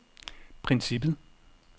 princippet